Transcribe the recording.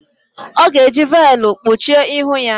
Ọ ga-eji veelụ kpuchie ihu ya.